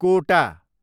कोटा